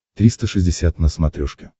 триста шестьдесят на смотрешке